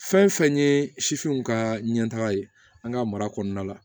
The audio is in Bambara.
Fɛn fɛn ye ka ɲɛtaga ye an ka mara kɔnɔna la